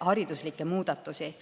hariduslikke muudatusi.